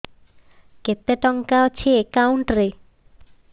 କେତେ ଟଙ୍କା ଅଛି ଏକାଉଣ୍ଟ୍ ରେ